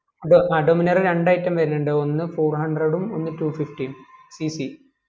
ഡോ അ Dominar ൽ രണ്ട്‌ Item വരുനിണ്ട് ഒന്ന് Four hundred ഉം ഒന്ന് two fifty യു cc